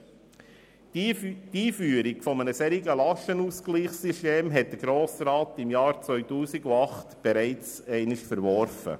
Der Grosse Rat hat die Einführung eines Lastenausgleichssystems im Jahr 2008 bereits einmal verworfen.